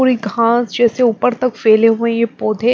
पूरी घास जैसे ऊपर तक फैले हुए ये पौधे---